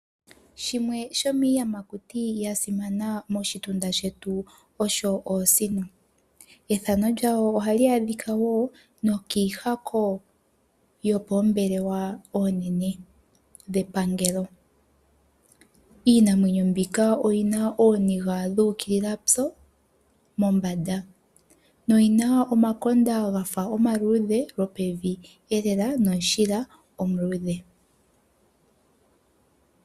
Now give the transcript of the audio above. Shimwe shomiiyamakuti ya simana moshitunda shetu osho oosino. Ethano lyadho oha li adhika woo nookihako yopoombelewa oonene dhepangelo . Iinamwenyo mbika oyina oniiga dhu ukilila tso mombanda noyina omakonda gafa omaludhe lopeveelela nomushila omuludhe.